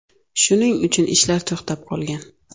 Shuning uchun ishlar to‘xtab qolgan.